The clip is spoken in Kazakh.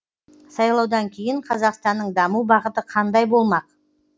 сайлаудан кейін қазақстанның даму бағыты қандай болмақ